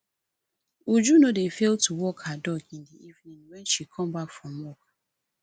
uju no dey fail to walk her dog in the evening wen she come back from work